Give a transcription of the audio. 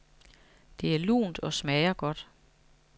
Det er lunt og smager godt.